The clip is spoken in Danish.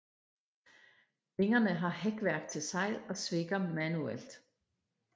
Vingerne har hækværk til sejl og svikker manuelt